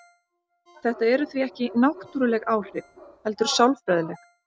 Þetta eru því ekki náttúruleg áhrif heldur sálfræðileg.